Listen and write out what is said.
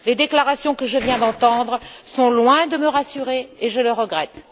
Les déclarations que je viens d'entendre sont loin de me rassurer, et je le regrette.